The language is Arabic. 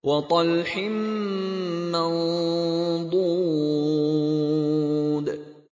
وَطَلْحٍ مَّنضُودٍ